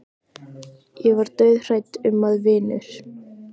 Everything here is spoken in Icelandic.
Ég var dauðhrædd um að vinur